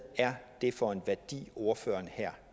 det er for en værdi ordføreren